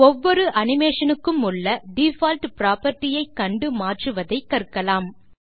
ஒவ்வொரு அனிமேஷன் க்குமுள்ள default property ஐ கண்டு மாற்றுவதை கற்கலாம்